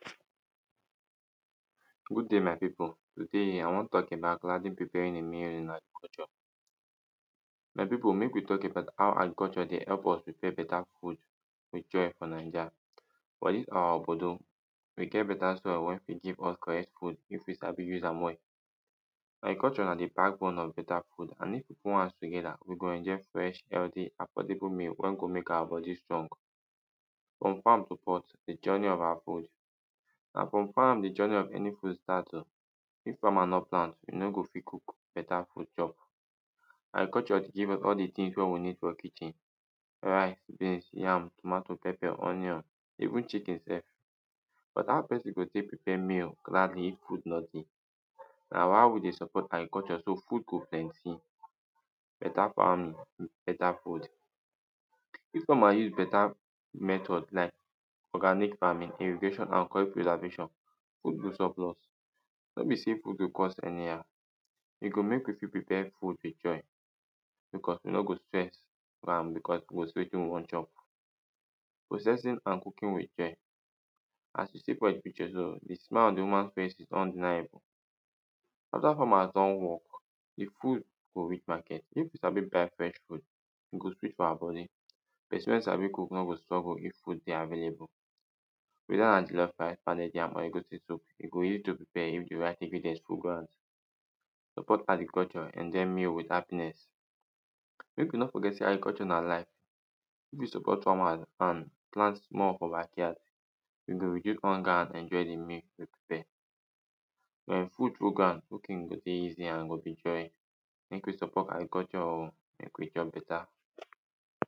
Good day, my people. Today, I wan talk about gladly preparing a meal in agriculture. My people, mek we talk about how agriculture dey help us prepare beta food with joy for Niger for dis our obodo, we get beta soil wey fit give us correct food if we fit sabi use am well Agriculture na the backbone of beta food and if we put hands together, we go enjoy fresh, healthy, affordable meal wey go mek our body strong. From farm to pot, the journey of our food. Na from farm the journey of any food start o. If farmer no plant, you no go fit cook beta food chop. Agriculture give us all the things wey we need for kitchen: rice, beans, yam, tomato, pepper, onion. Even chicken sef. But how person go tek prepare meal gladly if food no dey? Na why we dey support agriculture, so food go plenty. Beta farming, beta food. people are using beta method like: organic farming, irrigation, and curry preservation, good use of laws, no be say put to cost anyhow, e go mek you fit prepare food with joy. Because you no go stress because we go see wetin we wan chop. processing and cooking with joy, as you see for e picture so, the smile on the woman face is undeniable. Other farmers don work, de food go reach market, if you sabi buy fresh food. e go sweet for our body... person wey sabi cook no go struggle if food dey available. whether na jollof rice, pounded yam or egusi soap, e go easy to prepare if the right ingredient full ground.. support agriculture, enjoy meal with happiness mek you no forget say agriculture na life. we use to cut from our land, plant more for backyard. you go reduce hunger and enjoy the meal you prepare. um food full ground, cooking go dey easy and go be joy. Mek we support agriculture o, mek we chop beta.